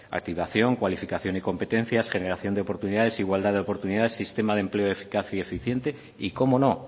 activación cualificación y competencia generación de oportunidades igualdad de oportunidades sistema de empleo eficaz y eficiente y cómo no